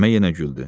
Məmmə yenə güldü.